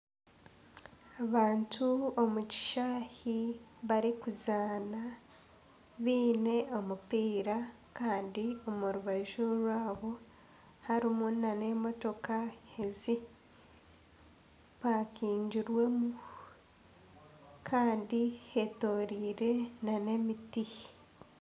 Abantu omu kishaayi barikuzaana baine omupiira kandi omu rubaju rwabo harimu nana emotoka ezipakingirwemu kandi hetoroirwe nana emiti.